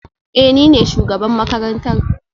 Ee, ni ne shugaban makarantar